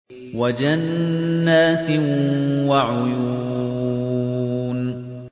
وَجَنَّاتٍ وَعُيُونٍ